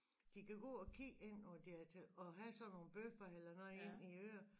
De kan gå og kigge ind og de er til og have sådan noogel bøffer eller noget inde i øret